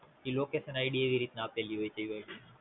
એ LocationID એવીરીતના આપેલી હોય છે